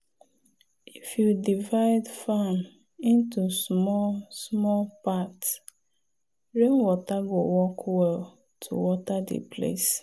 if you divide farm into small-small part rainwater go work well to water the place.